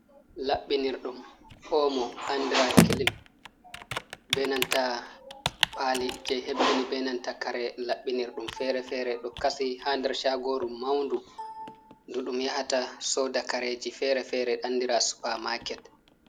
Labbinir ɗum omo andira kilim, be nanta pali je hebbini be nanta kare labbinir ɗum feere-feere do kasi ha der shagoru maundu ndu ɗum yahata soda kareji feere-feere andira supa maaket.